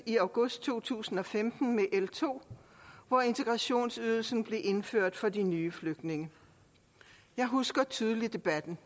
i august to tusind og femten med l to hvor integrationsydelsen blev indført for de nye flygtninge jeg husker tydeligt debatten